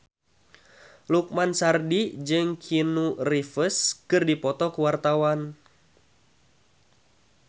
Lukman Sardi jeung Keanu Reeves keur dipoto ku wartawan